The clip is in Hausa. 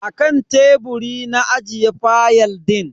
Akan teburi na ajiye fayal din.